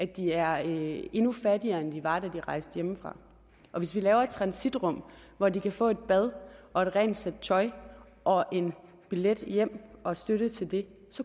de er endnu fattigere end de var da de rejste hjemmefra og hvis vi laver et transitrum hvor de kan få et bad og et rent sæt tøj og en billet hjem og støtte til det